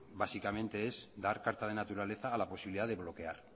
básicamente es dar carta de naturaleza a la posibilidad de bloquear